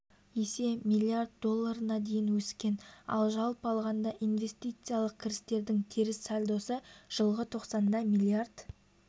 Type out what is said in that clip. есе млрд долларына дейін өскен ал жалпы алғанда инвестициялық кірістердің теріс сальдосы жылғы тоқсанда млрд